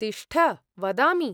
तिष्ठ, वदामि।